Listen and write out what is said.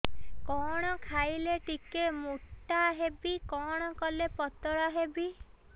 କଣ ଖାଇଲେ ଟିକେ ମୁଟା ହେବି କଣ କଲେ ପତଳା ହେବି